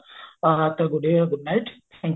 ଆଁ ତ good day good night thank you